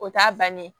O t'a bannen